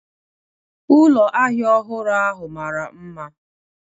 Ụlọ ahịa ahịa ọhụrụ ahụ mara mma